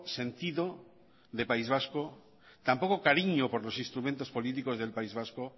sentido de país vasco tan poco cariño por los instrumentos políticos del país vasco